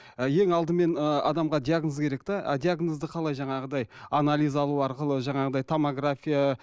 ы ең алдымен ы адамға диагноз керек те а диагнозды қалай жаңағыдай анализ алу арқылы жаңағыдай томография